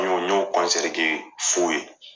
N y'o n y'o kɔnsɛri kɛ sow ye